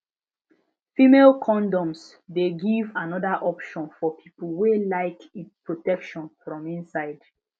female condoms de give another option for people wey like protection from inside